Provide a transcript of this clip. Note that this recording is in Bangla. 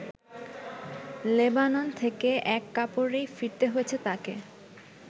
লেবানন থেকে এক কাপড়েই ফিরতে হয়েছে তাকে।